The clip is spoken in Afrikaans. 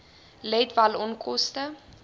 let wel onkoste